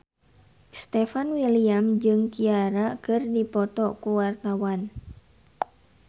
Stefan William jeung Ciara keur dipoto ku wartawan